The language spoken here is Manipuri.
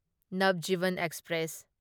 ꯅꯕꯖꯤꯚꯟ ꯑꯦꯛꯁꯄ꯭ꯔꯦꯁ